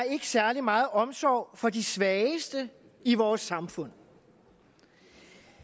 særlig meget omsorg for de svageste i vores samfund